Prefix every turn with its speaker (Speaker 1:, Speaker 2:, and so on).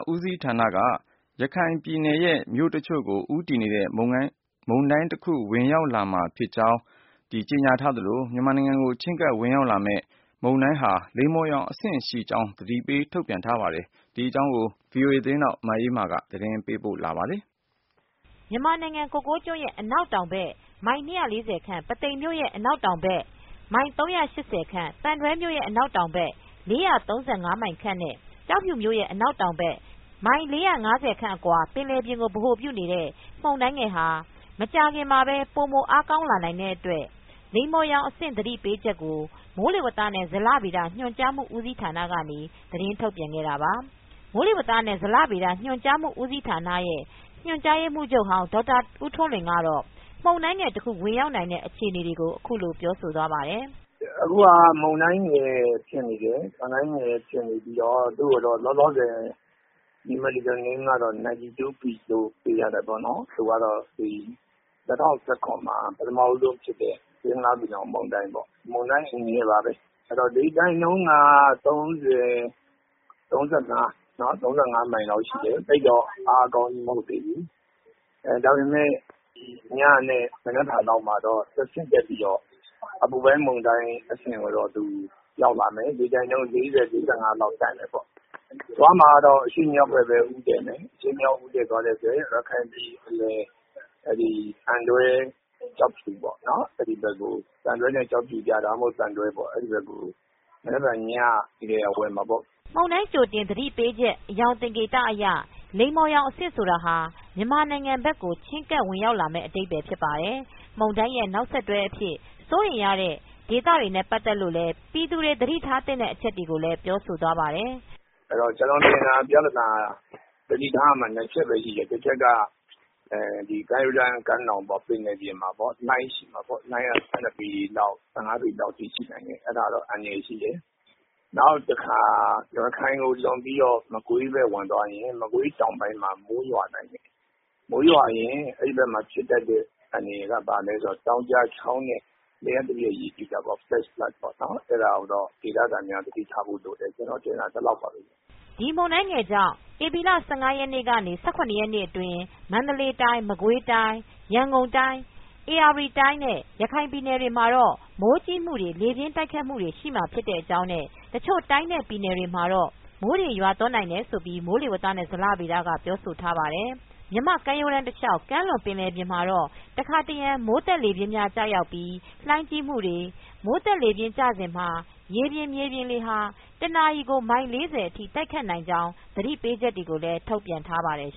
Speaker 1: ဦးစီးဌာနကနေ ရခိုင်ပြည်နယ်ရဲ့ မြို့တချို့ ကို ဦးတည်နေတဲ့ မုန်တိုင်း တခုဝင်ရောက်မှာဖြစ်တဲ့ အကြောင်းနဲ့ မုန်တိုင်းကြိုတင်သတိပေးချက် အဆင့်သတ်မှတ်ချက်အရ မြန်မာနိုင်ငံကိုချဉ်းကပ် ဝင်ရောက်လာမယ့် မုန်တိုင်းဟာ လိမ္မော်ရောင်အဆင်ရှိတဲ့အကြောင်း သတိပေးထုတ်ပြန်ခဲ့ပါတယ်။ မအေးအေးမာက သတင်းပေးပို့ထားပါတယ်
Speaker 2: ။ မြန်မာနိုင်ငံ၊ ကိုကိုးကျွန်းရဲ့ အနောက်-အနောက်တောင်ဘက် မိုင် ခန့်၊ ပုသိမ်မြိုရဲ့ အနောက်တောင်ဘက် မိုင် ခန့်၊ သံတွဲမြို ရဲ့ အနောက် တောင်ဘက် မိုင်ခန့်နှင့် ကျောက်ဖြူမြို့ရဲ့အနောက်တောင်ဘက် မိုင် ခန့်အကွာ ပင်လယ်ပြင်ကို ဗဟိုပြုနေတဲ့ မုန်တိုင်းငယ်ဟာ မကြာခင် မှာပဲ ပိုမိုးအားကောင်းလာနိုင်တဲ့အတွက် လိမ္မော်ရောင်အဆင့် သတိပေးချက်ကို မိုးလေဝသနဲ့ ဇလဗေဒညွန်ကြားမူဦးစီးဌာနကနေ သတင်းထုတ်ပြန်ထားတာပါ။ မိုးလေဝသနှင့်ဇလဗေဒညွှန်ကြားမှုဦးစီးဌာနရဲ့ ညွှန်ကြားရေးမှူးချုပ်ဟောင်း ဒေါက်တာ ဦးထွန်းလွင်ကတော့ မုန်တိုင်းငယ်တခု ဝင်ရောက်နိုင်တဲ့ အခြေအနေတွေကို အခုလို ပြောဆိုသွားပါတယ်
Speaker 1: ။ “အခုဟာက မုန်တိုင်းငယ်ဖြစ်နေတယ် သူ့ကိုတော့လောလောဆယ် 92 P လို့တော့ ကြေညာတယ်ပေါ့နော် သူက ၂၀၁၇ မှာ ပထမဦးဆုံးဖြစ်တဲ့ ဘင်္ဂလားပင်လယ်အော်မုန်တိုင်းပေါ့နော်။ မုန်တိုင်းအနေနဲ့ပါပဲ လေတိုက်နှုန်းကတော့ ၃၀-၃၅ မိုင်လောက်တော့ရှိတယ်၊ သိပ်တော့အားအကောင်းကြီးမဟုတ်သေးဘူး ဒါပေမယ့် ဒီညနဲ့ မနက်ဖြန်လောက်မှာတော့ အပူပေါင်းမုန်တိုင်းအဆင့်ကိုတော့ ရောက်လာမယ်။ လေတိုက်နှုန်း ၄၀- ၄၅ လောက်တိုက်မယ်ပေါ့နော်။ သွားမှာကတော့ အရှေ့မြောက်ဘက်ကိုပဲ ဦးတည်မယ် အဲဒီဘက်ကို ဦးတယ်သွားတဲ့အတွက် ရခိုင်ပြည်အလယ် သံတွဲ၊ ကျောက်ဖြူပေါ့နော် အဲဒီဘက်ကို သံတွဲ၊ ကျောက်ဖြူကြား ဒါမှမဟုတ်ရင် သံတွဲပေါ့ အဲဒီဘက်ကို မနက်ဖြန်ညကတည်းက ဝင်မှာပေါ့နော်
Speaker 2: ။” မုန်တိုင်းကြိုတင်သတိပေးချက် အရောင် သင်္ကေတအရောင် လိမ္မော်ရောင်အဆင့် ဆိုတာဟာမြန်မာနိုင်ငံ ဘက်ကိုချဉ်းကပ်ဝင်ရောက်လာမယ့် အဓိပ္ပါယ်ဖြစ်ပါတယ်။မုန်တိုင်းရဲ့နောက်ဆက်တွဲအဖြစ် စိုးရိမ်ရတဲ့ ဒေသတွေနဲ့ ပတ်သက်လို ပြည်သူတွေသတိထားသင့်တဲ့အချက်တွေကိုလည်း ပြောဆိုသွားပါတယ်။
Speaker 1: “ကျနော်မြင်တာကတော့ ဒီအတွက် သတိထားရမှာ ၂ ချက်ရှိတယ်။ ၁ ချက်က ကမ်းရိုးတန်းနဲ့ ကမ်းလွန်ပင်လယ်ပြင်တွေမှာ လှိုင်းရှိမှာပေါ့ ၊ လှိုင်းက ၁၂ -၁၅ ပေလောက် အထိရှိနိုင်တယ်။ အဲဒါကတော့ အန္တရာယ်ရှိတယ်။ နောက်တခါ ရခိုင်ကိုလွန်ပြီးတော့ မကွေးဘက်ဝင်သွားရင် မကွေးတောင်ပိုင်းမှာ မိုးရွာနိုင်တယ်၊ မိုးရွာရင် အဲဒီဘက်မှာ ဖြစ်တတ်တဲ့ အန္တရာယ်ကဘာလဲဆိုတော့ တောင်ကျချောင်းနဲ့ လျှပ်တပြတ် ရေကြီးတာပေါ့နော် Flash flood ပေါ့နော် အဲဒါကိုတော့ ဒေသခံ တွေသတိထားဖို့လိုတယ်၊ ကျနော်ထင်တာ ဒီလောက်ပါပဲ
Speaker 2: ။” မုန်တိုင်းငယ်ကြောင့် ဧပြီလ ၁၅ရက်နေ့ ကနေ ၁၇ရက်အတွင်း မန္တလေးတိုင်း၊ မကွေးတိုင်းနဲ့ ရန်ကုန်တိုင်း ဧရာဝတီတိုင်းနဲ့ ရခိုင်ပြည်နယ် တွေမှာတော့ မိုးကြီးမူတွေ လေပြင်းတွေတိုက်မူတွေ ရှိမှာဖြစ်တဲ့အြကြာင်းနဲ့ တချို့တိုင်းနဲ့ ပြည်နယ်တွေမှာတော့မိုးရွာနိုင်တယ်လို့လည်း မိုးဇလကပြောဆိုထားပါတယ်။ မြန်မာ့ကမ်းရိုးတန်းတစ်လျှောက်၊ ကမ်းလွန်ပင်လယ်ပြင်မှာ တစ်ခါတစ်ရံ မိုးသက် လေပြင်းများကျရောက်ပြီး၊ လှိုင်းကြီးမှုတွေ မိုးသက်လေပြင်းကျစဉ် ရေပြင်/မြေပြင်လေ ဟာ တစ်နာရီကိုမိုင် အထိ တိုက်ခတ်နိုင်ကြောင်းသတိပေးချက်တွေကိုလည်း ထုတ်ပြန်ထားပါတယ်